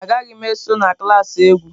Mba, agaghị m eso na klas egwu.